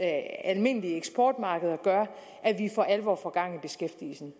almindelige eksportmarkeder gør at vi for alvor får gang i beskæftigelsen